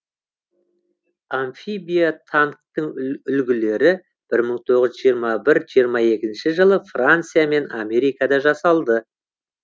амфибия танктің үлгілері бір мың тоғыз жүз жиырма бір жиырма екінші жылы франция мен америкада жасалды